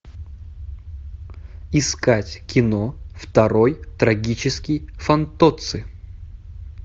искать кино второй трагический фантоцци